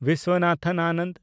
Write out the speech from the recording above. Vishwanathan Anand